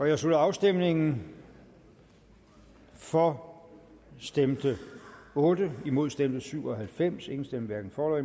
jeg slutter afstemningen for stemte otte imod stemte syv og halvfems hverken for